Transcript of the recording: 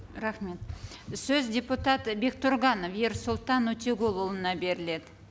рахмет сөз депутат бектұрғанов ерсұлтан өтеғұлұлына беріледі